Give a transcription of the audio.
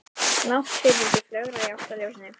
Náttfiðrildi flögraði í átt að ljósinu.